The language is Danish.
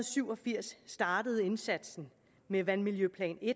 syv og firs startede indsatsen med vandmiljøplan i